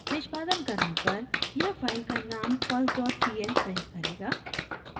निष्पादन करने पर यह फाइल का नाम first dot pl प्रिंट करेगा